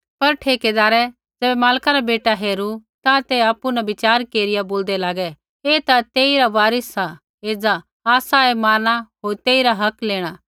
पर ठेकैदारै ज़ैबै मालका रा बेटा हेरू ता ते आपु न बिच़ार केरिया बोलदै लागै ऐ ता तेइरा वारिस सा एज़ा आसा ऐ मारना होर ऐईरा हक लेणा